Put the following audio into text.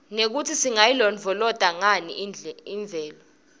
nekutsi singayilondvolozata nganiimvelo